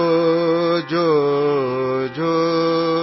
जोजोजोजो